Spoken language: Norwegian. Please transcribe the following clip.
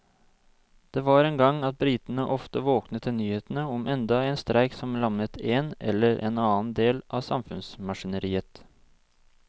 Det var en gang at britene ofte våknet til nyhetene om enda en streik som lammet en eller annen del av samfunnsmaskineriet.